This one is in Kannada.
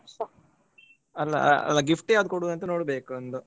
ಅಹ್ ಅಲ್ಲ gift ಯಾವುದು ಕೊಡುದು ಅಂತ ನೋಡ್ಬೇಕು ಒಂದು.